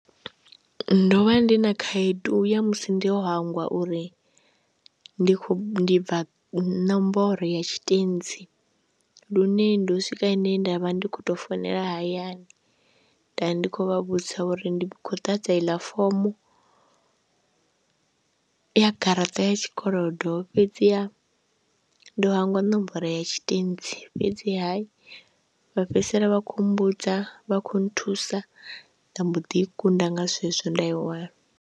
Ndo vha ndi na khaedu ya musi ndo hangwa uri ndi khou bva nomboro ya tshitentsi lune ndo swika hene nda vha ndi khou tou founela hayani, nda vha ndi khou vha vhudzisa uri ndi khou ḓahadza iḽa fomo ya garaṱa ya tshikolodo fhedziha ndo hangwa nomboro ya tshitentsi fhedziha vha fhedzisela vha khou mbudza, vha khou nthusa, nda mbo ḓi i kunda nga zwezwo nda i wana.